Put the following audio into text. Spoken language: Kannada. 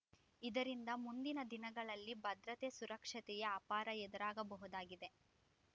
ಇದರಿಂದ ಮುಂದಿನ ದಿನಗಳಲ್ಲಿ ಭದ್ರತೆ ಸುರಕ್ಷತೆಯ ಅಪಾರ ಎದುರಾಗಬಹುದಾಗಿದೆ